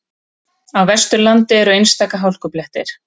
Á Vesturlandi eru einstaka hálkublettir